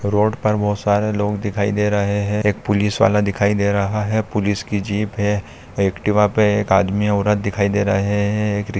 road पर बहुत सरे लोग दिखाई दे रहे है एक पोलिसेवाला दिखाई दे रहा है पुलिस की जीप है एक्टिवा पे एक आदमी औरत दिखाई दे रहे